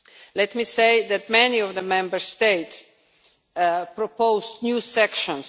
Let me say that many of the Member States proposed new sections.